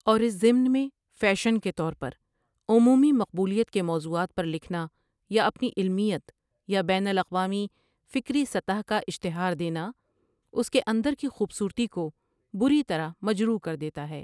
اور اس ضمن میں فیشن کے طور پر عمومی مقبولیت کے موضوعات پر لکھنا یا اپنی علمیت یا بین الاقوامی فکری سطح کا اشتہار دینا اس کے اندر کی خوبصورتی کو بری طرح مجروح کر دیتا ہے ۔